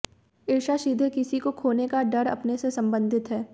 ईर्ष्या सीधे किसी को खोने का डर अपने से संबंधित है